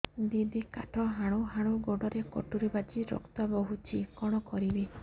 ଦିଦି କାଠ ହାଣୁ ହାଣୁ ଗୋଡରେ କଟୁରୀ ବାଜି ରକ୍ତ ବୋହୁଛି କଣ କରିବି